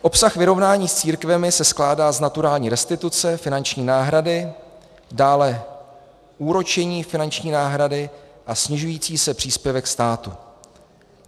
Obsah vyrovnání s církvemi se skládá z naturální restituce, finanční náhrady, dále úročení finanční náhrady a snižující se příspěvek státu.